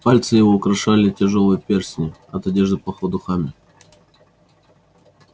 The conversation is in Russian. пальцы его украшали тяжёлые перстни от одежды пахло духами